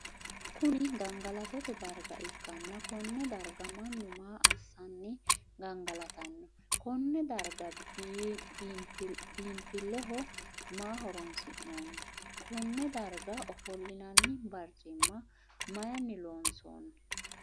Kunni gangalattote darga ikanna konne darga mannu maa assanni gangalatano? Konne darga biinfileho maa horoonsi'noonni? Konne darga ofolinnanni barcimimma mayinni loonsoonni?